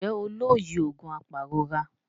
Njé o ló yíò oògùn apairora?